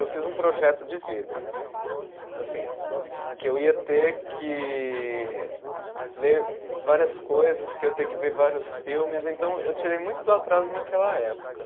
Eu fiz um projeto de vida, assim, que eu ia ter que ler várias coisas, que eu ia ter que ver vários filmes, então eu tirei muito do atraso naquela época.